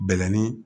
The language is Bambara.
Bɛlɛnin